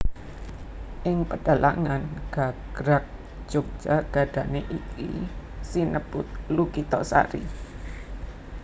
Ing pedhalangan gagrag Jogja gadané iki sinebut Lukitasari